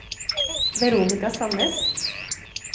Veronika Sannes